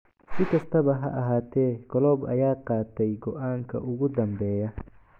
Si kastaba ha ahaatee Klopp ayaa qaatay go'aanka ugu dambeeya.